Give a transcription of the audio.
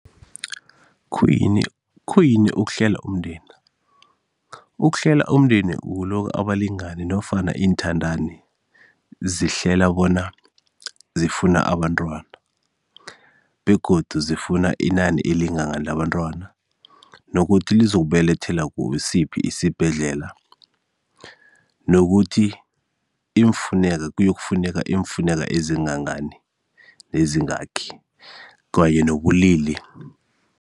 Khuyini, khuyini ukuhlela umndeni? Ukuhlela umndeni kulokha abalingani nofana iinthandani zihlela bona zifuna abantwana begodu zifuna inani elingangani labantwana nokuthi lizokubelethela kusiphi isibhedlela nokuthi kuyokufuneka iimfuneka ezingangani eziyingakhi kanye nobulili.